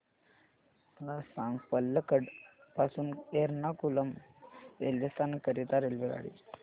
मला सांग पलक्कड पासून एर्नाकुलम रेल्वे स्थानक करीता रेल्वेगाडी